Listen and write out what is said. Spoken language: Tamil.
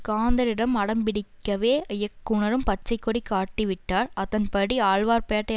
காந்தனிடம் அடம்பிடிக்கவே இயக்குனரும் பச்சை கொடி காட்டிவிட்டார் அதன்படி ஆழ்வார்பேட்டை